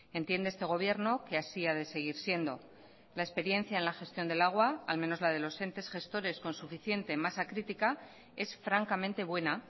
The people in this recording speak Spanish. entiende este gobierno que así ha de seguir siendo la experiencia en la gestión del agua al menos la de los entes gestores con suficiente masa crítica es francamente buena